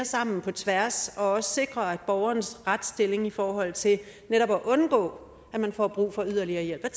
på tværs og også om at sikre borgerens retsstilling i forhold til netop at undgå at man får brug for yderligere hjælp